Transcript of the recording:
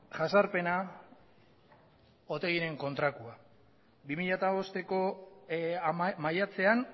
jasarpena otegiren kontrakoa bi mila bosteko maiatzean